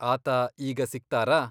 ಆತ ಈಗ ಸಿಗ್ತಾರಾ?